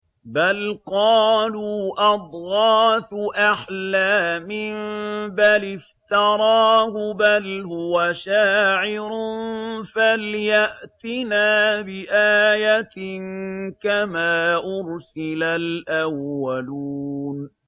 بَلْ قَالُوا أَضْغَاثُ أَحْلَامٍ بَلِ افْتَرَاهُ بَلْ هُوَ شَاعِرٌ فَلْيَأْتِنَا بِآيَةٍ كَمَا أُرْسِلَ الْأَوَّلُونَ